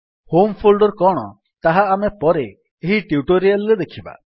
home folder କଣ ତାହା ଆମେ ପରେ ଏହି ଟ୍ୟୁଟୋରିଆଲ୍ ରେ ଦେଖିବା